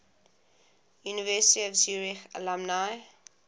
university of zurich alumni